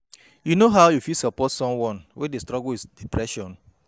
You know how you fit support someone wey dey struggle wit depression?